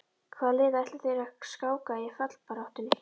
Hvaða liði ætla þeir að skáka í fallbaráttunni?